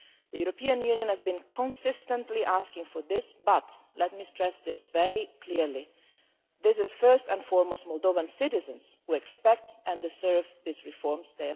The European Union has been consistently asking for these reforms, but and let me stress this very clearly it is, first and foremost, Moldovan citizens who expect and deserve them.